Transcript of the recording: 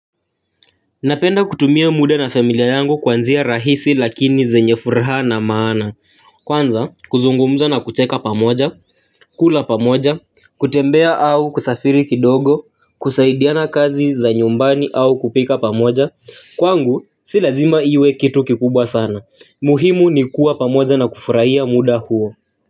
Napenda kutumia muda na familia yangu kwa njia rahisi lakini zenye furaha na maana, kwanza kuzungumza na kucheka pamoja, kula pamoja, kutembea au kusafiri kidogo, kusaidiana kazi za nyumbani au kupika pamoja, kwangu si lazima iwe kitu kikubwa sana, muhimu ni kuwa pamoja na kufurahia muda huo.